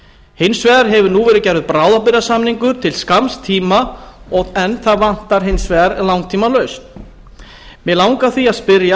hins vegar hefur nú verið gerður bráðabirgðasamningur til skamms tíma en það vantar hins vegar langtímalausn mig langar því að spyrja